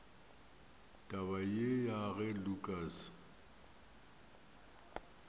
taba ye ya ge lukas